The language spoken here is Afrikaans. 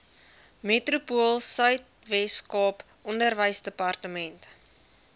metropoolsuid weskaap onderwysdepartement